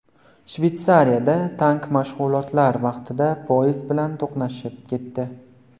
Shvetsiyada tank mashg‘ulotlar vaqtida poyezd bilan to‘qnashib ketdi.